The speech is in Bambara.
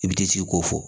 I bɛ t'i sigi ko fɔ